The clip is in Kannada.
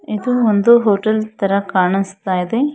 ಇದು ಒಂದು ಹೋಟೆಲ್ ತರ ಕಾಣಿಸ್ತಾ ಇದೆ.